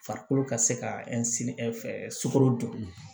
Farikolo ka se ka sugoro dun